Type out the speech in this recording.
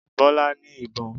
Bọ́lá ní ìbọn